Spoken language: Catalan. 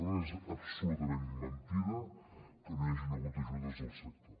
per tant és absolutament mentida que no hi hagin hagut ajudes al sector